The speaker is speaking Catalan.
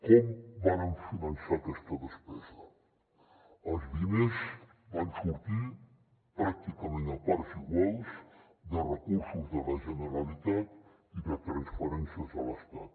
com vàrem finançar aquesta despesa els diners van sortir pràcticament a parts iguals de recursos de la generalitat i de transferències de l’estat